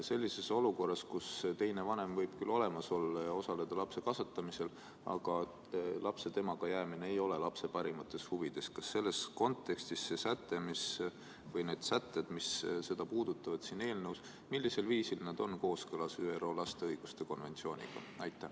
Sellises olukorras, kus teine vanem võib küll olemas olla ja osaleda lapse kasvatamisel, aga lapse temaga jäämine ei ole lapse parimates huvides, millisel viisil selles kontekstis see säte või need sätted, mis seda teemat siin eelnõus puudutavad, on kooskõlas ÜRO lapse õiguste konventsiooniga?